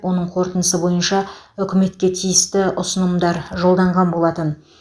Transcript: оның қорытындысы бойынша үкіметке тиісті ұсынымдар жолданған болатын